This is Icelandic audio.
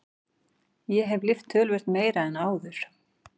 Ég hef lyft töluvert meira en áður.